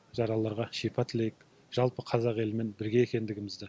жаралыларға шипа тілейік жалпы қазақ елімен бірге екендігімізді